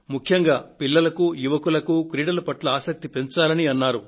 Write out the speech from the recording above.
ముఖ్యంగా పిల్లలకు యువకులకు క్రీడల పట్ల ఆసక్తిని పెంచాలని కోరారు